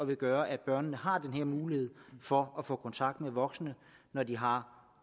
vil gøre at børnene har den her mulighed for at få kontakt med voksne når de har